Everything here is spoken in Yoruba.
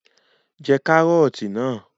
Jẹ Kàrọ́ọ̀tì náà!